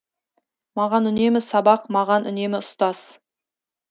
маған үнемі сабақ маған үнемі ұстаз